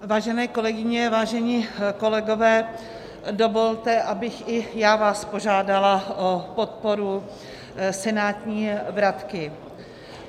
Vážené kolegyně, vážení kolegové, dovolte, abych i já vás požádala o podporu senátní vratky.